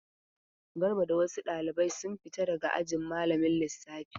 Garba da wasu ɗalibai sun fita daga ajin malamin lissafi.